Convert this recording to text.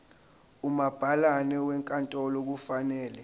umabhalane wenkantolo kufanele